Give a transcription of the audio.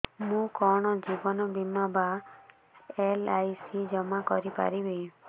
ମୁ କଣ ଜୀବନ ବୀମା ବା ଏଲ୍.ଆଇ.ସି ଜମା କରି ପାରିବି